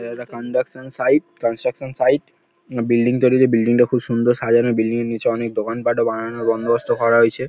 এটা একটা conduction site construction site. আ বিল্ডিং তৈরী হচ্ছে বিল্ডিং -টা খুব সুন্দর সাজানো। বিল্ডিং -এর নিচে অনেক দোকান পাটও বানানোর বন্দোবস্ত করা হয়েছে।